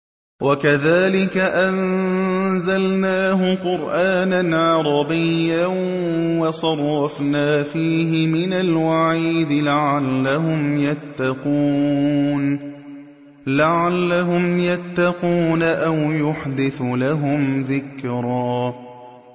وَكَذَٰلِكَ أَنزَلْنَاهُ قُرْآنًا عَرَبِيًّا وَصَرَّفْنَا فِيهِ مِنَ الْوَعِيدِ لَعَلَّهُمْ يَتَّقُونَ أَوْ يُحْدِثُ لَهُمْ ذِكْرًا